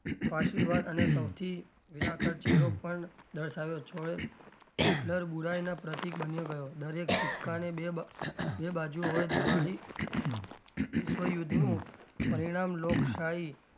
પાસીવાદ અને સૌથી વિરાકાર ચહેરો પણ દર્શાવ્યો હિટલર બુરાઈ નો પ્રતિક બન્યો ગયો દરેક સિક્કા ને બે બાજુ હોય દ્વારી વિશ્વયુદ્ધ નું પરિણામ લોકશાહી,